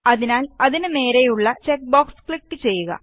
അതിനാല് അതിനു നേരെയുള്ള ചെക്ക് ബോക്സ് ക്ലിക് ചെയ്യുക